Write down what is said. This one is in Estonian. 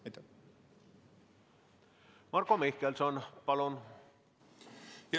Marko Mihkelson, palun!